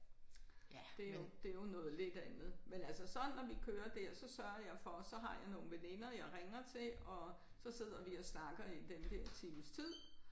Det jo det jo noget lidt andet. Men altså så når vi kører der så sørger jeg for så har jeg nogle veninder jeg ringer til og så sidder vi og snakker i den der times tid